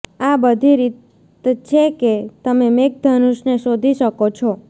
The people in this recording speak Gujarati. આ બધી રીત છે કે તમે મેઘધનુષને શોધી શકો છો